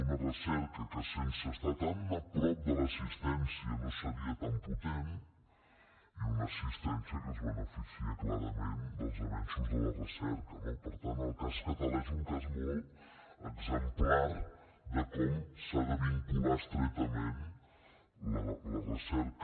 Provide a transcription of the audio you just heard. una recerca que sense estar tan a prop de l’assistència no seria tan potent i una assistència que es beneficia clarament dels avenços de la recerca no per tant el cas català és un cas molt exemplar de com s’ha de vincular estretament la recerca